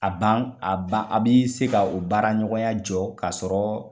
A ban a ban ,a bi se ka o baara ɲɔgɔnya jɔ ka sɔrɔ